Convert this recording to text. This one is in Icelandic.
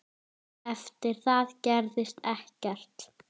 Eftir það gerðist ekkert.